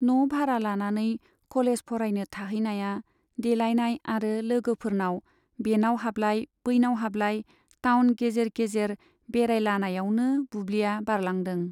न' भारा लानानै कलेज फरायनो थाहैनाया देलाइनाय आरो लोगोफोरनाव बेनाव हाबलाय, बैनाव हाबलाय, टाउन गेजेर गेजेर बेरायलानायावनो बुब्लिया बारलांदों।